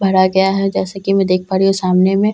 भरा गया हैं जैसे की मैं देख पा रही हूँ सामने में एक बाइक --